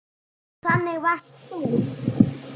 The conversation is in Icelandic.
Þannig varst þú.